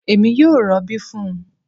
Èmi yóò robi fún un